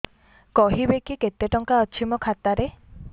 କହିବେକି କେତେ ଟଙ୍କା ଅଛି ମୋ ଖାତା ରେ